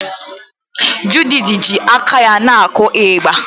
Judith ji aka ya na-akụ ịgbà.